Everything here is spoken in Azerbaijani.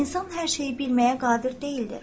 İnsan hər şeyi bilməyə qadir deyildir.